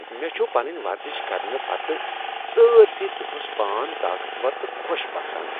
مےٚ چھُ پنُن ورزش کرنہٕ پتہٕ سٲرۍسٕے دۄہس پان طاقت ور تہٕ خۄش باسان۔